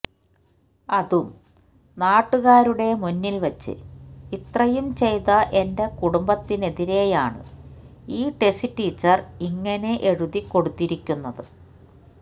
അതും നാട്ടുകാരുടെ മുന്നിൽ വച്ച് ഇത്രയും ചെയ്ത എന്റെ കുടുംബത്തിനെതിരെയാണ് ഈ ടെസി ടീച്ചർ ഇങ്ങനെ എഴുതി കൊടുത്തിരിക്കുന്നത്